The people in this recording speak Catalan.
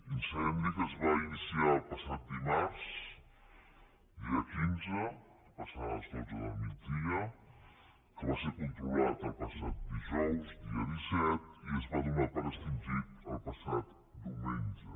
incendi que es va iniciar el passat dimarts dia quinze passades les dotze del migdia que va ser controlat el passat dijous dia disset i es va donar per extingit el passat diumenge